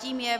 Tím je